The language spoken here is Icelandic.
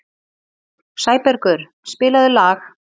Sæbergur, spilaðu lag.